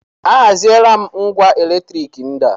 A haziela m ngwá elektrik ndị a.